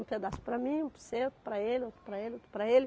Um pedaço para mim, um para você, outro para ele, outro para ele, outro para ele.